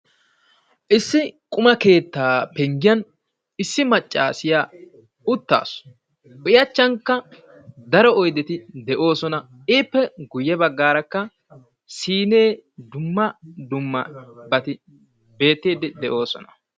Issi quma keetta penggiyan issi maccaasiya uttaasu. I achchankka daro oyddeti de'oosona. Ippe guyye baggaarakka siine, dumma dummabati beettiiddi de'oosona.